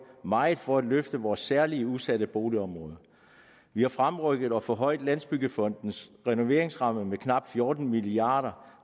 meget for at løfte vores særligt udsatte boligområder vi har fremrykket og forhøjet landsbyggefondens renoveringsramme med knap fjorten milliard